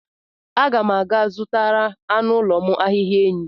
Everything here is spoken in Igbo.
Aga m aga-azụtara anụ ụlọ m ahịhịa enyí.